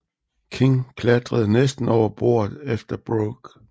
King klatrede næsten over bordet efter Brooke